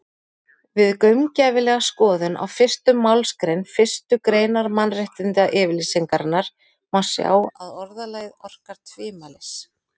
Við gaumgæfilega skoðun á fyrstu málsgrein fyrstu greinar Mannréttindayfirlýsingarinnar má sjá að orðalagið orkar tvímælis.